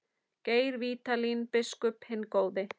Geir Vídalín biskup hinn góði.